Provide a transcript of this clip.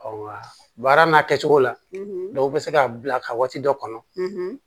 Ɔ baara n'a kɛ cogo la dɔw bɛ se ka bila ka waati dɔ kɔnɔ